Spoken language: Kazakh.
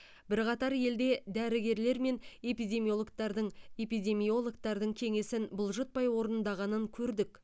бірқатар елде дәрігерлер мен эпидемиологтардың эпидемиологтардың кеңесін бұлжытпай орынғанын көрдік